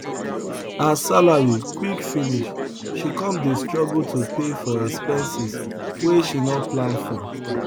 her salary quick finish she come dey struggle to pay for expenses wey she no plan for